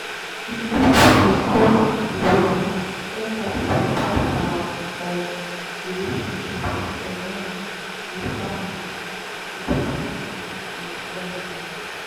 you fit discuss di ways empathgy dey impact our um relationships um with family with family and friends